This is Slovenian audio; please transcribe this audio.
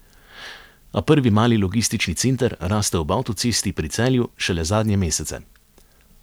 A prvi mali logistični center raste ob avtocesti pri Celju šele zadnje mesece.